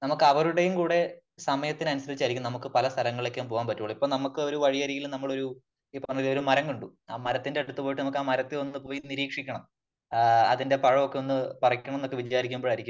നമുക്കവരുടെയും കൂടെ സമയത്തിനനുസരിച്ച് ആയിരിക്കും നമുക്ക് പല സ്ഥലങ്ങളിലേക്കും പോകാൻ പറ്റുളളു . നമുക്ക് ഒരു വഴിയരികിൽ നമ്മൾ ഒരു ഈ പറഞ്ഞ ഒരു മരം കണ്ടു .ആ മരത്തിന്റെ അടുത്ത് പോയിട്ട് നമുക്ക ആ മരത്തെ ഒന്ന് പോയി നിരീക്ഷിക്കണം ആ അതിന്റെ പഴമൊക്കെ ഒന്ന് പറിക്കണമെന്ന് ഒക്കെ വിചാരിക്കുമ്പോഴായിരിക്കും